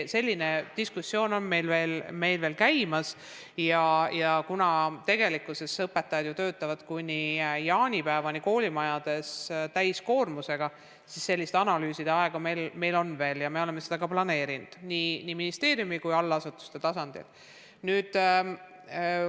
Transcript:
Selline diskussioon on käimas ja kuna õpetajad ju töötavad kuni jaanipäevani koolimajades täiskoormusega, siis analüüsideks meil aega on veel ja me oleme seda planeerinud nii ministeeriumi kui allasutuste tasandil.